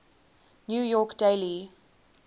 new york daily